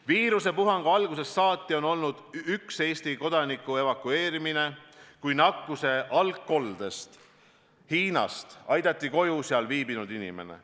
Viirusepuhangu algusest saati on olnud üks Eesti kodaniku evakueerimine, kui nakkuse algkoldest Hiinast aidati koju seal viibinud inimene.